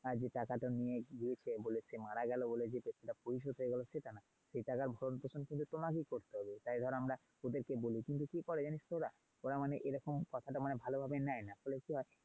হ্যাঁ যে টাকা টো নিয়েছি সে বলে সে মারা গেলো বলে যে টাকাটা পরিশোধ হয়ে গেল সেটা না। সে টাকার ভরণ পোষণ কিন্তু তোমাকেই করতে হবে। তাই ধরো আমরা ওদের কে বলি কিন্তু কি করে জানিস তো ওরা। ওরা মানে এই রকম কথাটা মানে ভালো ভাবে নেয় না। ফলে কি হয়?